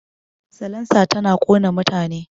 Salansa tana ƙona mutane